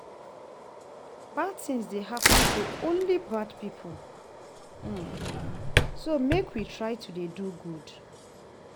Bad things dey happen to only bad people so make we try to dey do good